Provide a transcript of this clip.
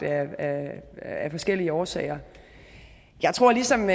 af forskellige årsager jeg tror ligesom